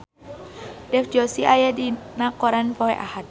Dev Joshi aya dina koran poe Ahad